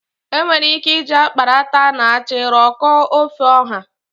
Enwere ike iji akparata na achị rụkọọ ofe ọha.